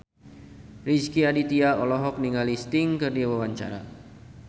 Rezky Aditya olohok ningali Sting keur diwawancara